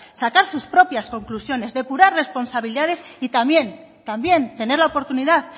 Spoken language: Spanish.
sacar sus propias conclusiones depurar responsabilidades y también tener la oportunidad